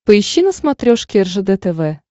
поищи на смотрешке ржд тв